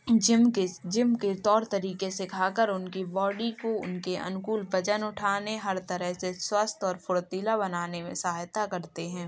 Gym के gym के तौर तरीके से खाकर उनकी बॉडी को उनके अनुकूल वजन उठाने हर तरह से स्वस्थ और फुर्तीला बनाने में सहायता करते हैं।